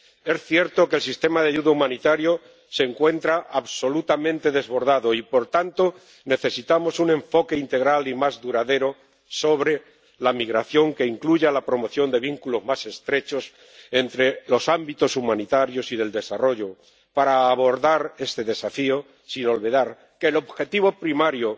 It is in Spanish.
Es cierto que el sistema de ayuda humanitaria se encuentra absolutamente desbordado y, por tanto, necesitamos un enfoque integral y más duradero sobre la migración que incluya la promoción de vínculos más estrechos entre los ámbitos humanitarios y del desarrollo para abordar este desafío, sin olvidar que el objetivo primario